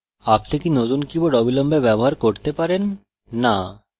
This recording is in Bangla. আপনি can নতুন keyboard অবিলম্বে ব্যবহার করতে পারেন no